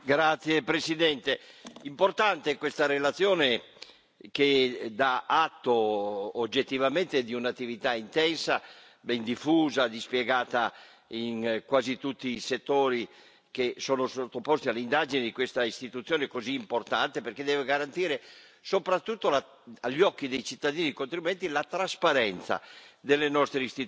Signor Presidente, onorevoli colleghi, è importante questa relazione, che dà atto oggettivamente di un'attività intensa, ben diffusa, dispiegata in quasi tutti i settori che sono sottoposti alle indagini di questa istituzione così importante, perché deve garantire soprattutto, agli occhi dei cittadini e dei contribuenti, la trasparenza